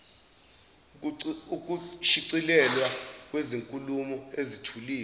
ukushicilelwa kwezinkulumo ezithuliwe